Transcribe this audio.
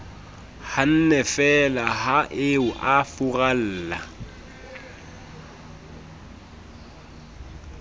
hannefeela ha eo a furalla